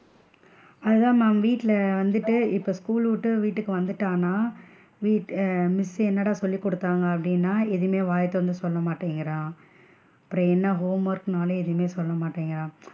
அதான் ma'am வீட்ல வந்துட்டு இப்போ school விட்டு வீட்டுக்கு வந்துட்டானா வீ ஆஹ் miss சு என்னாடா சொல்லி குடுத்தாங்க அப்படின்னா எதுமே வாய திறந்து சொல்ல மாட்டேன்குறான் அப்பறம் என்ன homework னாலும் எதுமே சொல்ல மாட்டேன்குறான்.